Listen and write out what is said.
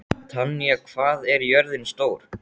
Tanya, hvað er jörðin stór?